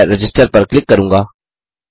मैं रजिस्टर पर क्लिक करूँगा